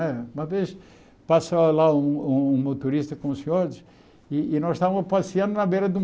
Eh uma vez passou lá um um motorista com os senhores e e nós estávamos passeando na beira do